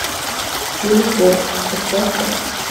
телепорт поставь ка